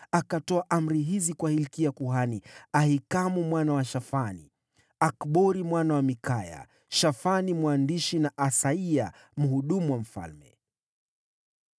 Akatoa maagizo haya kwa Hilkia kuhani, Ahikamu mwana wa Shafani, Akbori mwana wa Mikaya, Shafani mwandishi, na Asaya mtumishi wa mfalme: